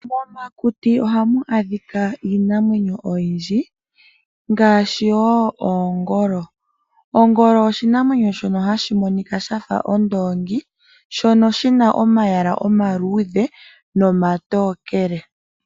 Momakuti ohamu adhika iinamwenyo oyindji ngaashi oongolo. Ongolo oshinamwenyo shono hashi monika shafa ondoongi shono shina omalwaala omaluudhe, nomatookele.